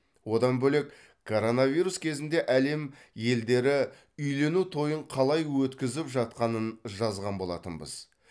одан бөлек коронавирус кезінде әлем елдері үйлену тойын қалай өткізіп жатқанын жазған болатынбыз